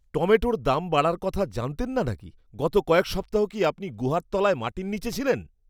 টমেটোর দাম বাড়ার কথা জানতেন না নাকি? গত কয়েক সপ্তাহ কি আপনি গুহার তলায় মাটির নীচে ছিলেন?